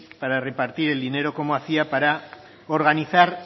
para repartir el dinero cómo hacía para organizar